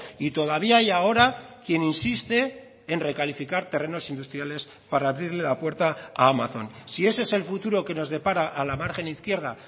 y todavía hay ahora quien insiste en recalificar terrenos industriales para abrirle la puerta a amazon si ese es el futuro que nos depara a la margen izquierda